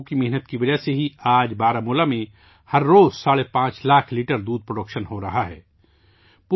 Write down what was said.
ایسے لوگوں کی محنت کی وجہ سے بارہمولہ میں آج ہر روزہ 5.5 لاکھ لیٹر دودھ پیدا ہورہا ہے